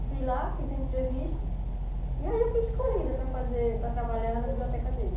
Eu fui lá, fiz a entrevista, e aí eu fui escolhida para fazer para trabalhar na biblioteca dele.